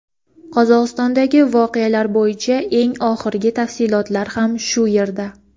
Qozog‘istondagi voqealar bo‘yicha eng oxirgi tafsilotlar ham shu yerda.